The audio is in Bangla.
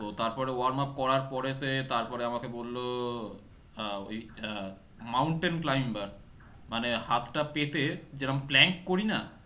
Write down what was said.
তো তারপরে warm up করার পরেতে তারপরে আমাকে বলল আহ ওই আহ mountain climber মানে হাত টা পেতে যেরম plank করি না?